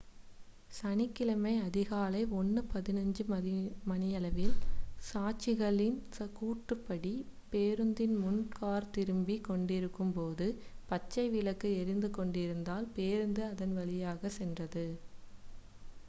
சனிக்கிழமை அதிகாலை 1:15 மணியளவில் சாட்சிகளின் கூற்றுப்படி பேருந்தின் முன் கார் திரும்பிக் கொண்டிருந்தபோது பச்சை விளக்கு எரிந்து கொண்டிருந்ததால் பேருந்து அதன் வழியாக சென்றது